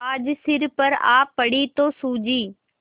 आज सिर पर आ पड़ी तो सूझी